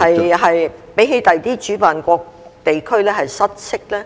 會比其他主辦國家或地區失色呢？